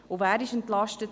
Wer wurde entlastet?